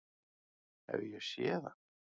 Hef ég séð hann?